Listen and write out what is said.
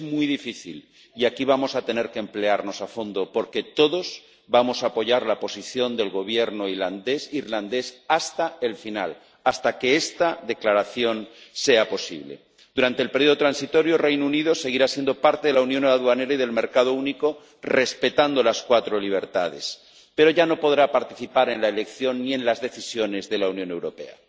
Es muy difícil y aquí vamos a tener que emplearnos a fondo porque todos vamos a apoyar la posición del Gobierno irlandés hasta el final, hasta que esta declaración sea posible. Durante el periodo transitorio el Reino Unido seguirá siendo parte de la unión aduanera y del mercado único, respetando las cuatro libertades, pero ya no podrá participar en la elección ni en las decisiones de la Unión Europea.